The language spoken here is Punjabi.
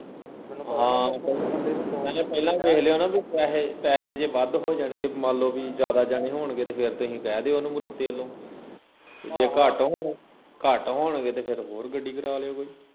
ਹਾਂ ਮੈਂ ਕਿਹਾ ਪਹਿਲਾਂ ਵੀ ਵੇਖ ਲਿਉ ਨਾ ਬਈ ਪੈਹੇ ਪੈਹੇ ਜੇ ਵੱਧ ਹੋ ਜਾਣਗੇ ਮੰਨ ਲਿਓ ਬਈ ਜਿਆਦਾ ਜਾਣੇ ਹੋਣਗੇ ਤੇ ਫਿਰ ਤੁਹੀ ਕਹਿ ਦਿਓ ਓਹਨੂੰ ਵਲੋ ਤੇ ਜੇ ਘੱਟ ਜੇ ਘੱਟ ਹੋਣਗੇ ਤੇ ਫਿਰ ਹੋਰ ਗੱਡੀ ਕਰਾ ਲਿਓ ਕੋਈ